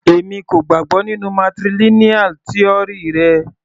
Èmi kò gbàgbọ́ nínú matrilineal tíórì rẹ.